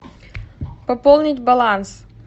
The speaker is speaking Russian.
пополнить баланс